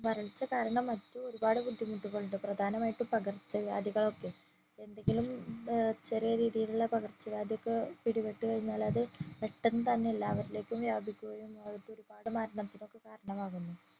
വരൾച്ച കാരണം മറ്റും ഒരുപാട് ബുദ്ധിമുട്ടുകൾ ഉണ്ട് പ്രധാനമായും പകർച്ച വ്യാധികളൊക്കെ എന്തെങ്കിലും ചെറിയ ഏർ രീതിയിലുള്ള പകർച്ച വ്യാധി ഒക്കെ പിടിപെട്ട് കഴിഞ്ഞാല് അത് പെട്ടന്ന് തന്നെ എല്ലാവരിലേക്കും വ്യാപിക്കുകയും അത് ഒരുപാട് മരണത്തിനൊക്കെ കാരണമാകുന്നു